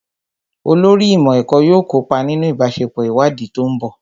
Olórí ìmọ̀ ẹ̀kọ́ yóò kópa nínú ìbáṣepọ̀ ìwádìí tó ń bọ̀